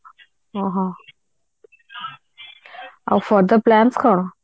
ଓଃହୋ ଆଉ further plans କଣ